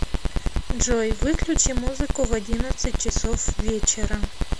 джой выключи музыку в одиннадцать часов вечера